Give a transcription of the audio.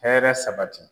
Hɛrɛ sabati